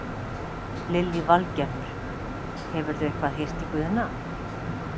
Lillý Valgerður: Hefurðu eitthvað heyrt í Guðna?